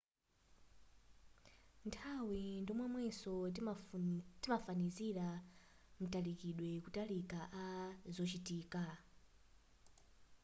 nthawi ndi momwenso timafanizira matalikidwe kutalika a zochitika